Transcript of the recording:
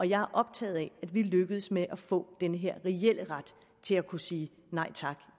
jeg er optaget af at vi lykkes med at få den her reelle ret til at kunne sige nej tak